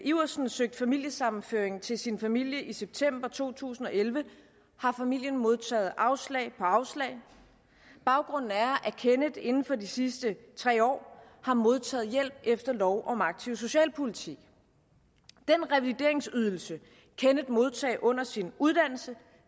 iversen søgte familiesammenføring til sin familie i september to tusind og elleve har familien modtaget afslag på afslag baggrunden er at kenneth inden for de sidste tre år har modtaget hjælp efter lov om aktiv socialpolitik den revalideringsydelse kenneth modtog under sin uddannelse